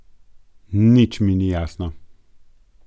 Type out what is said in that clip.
Nič mi ni jasno.